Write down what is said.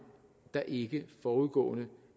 der ikke forudgående